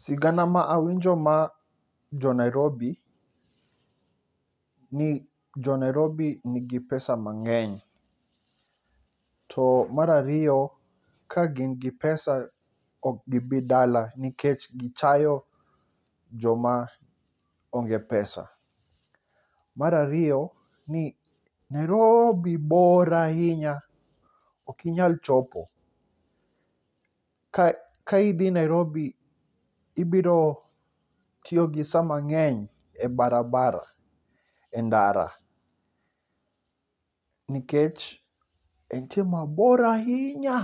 Sigana ma awinjo majo Nairobi, ni jonairobi nigi pesa mang'eny to mar ariyo, ka gin gi pesa ok gi bi dala nikech gichayo joma onge pesa. Mar ariyo ni Naroobi bor ahinya ok inyal chopo. Ka ka idhi Nairobi ibiro tiyo gi saa mang'eny e barabara e ndara nikech entie mabor ahinya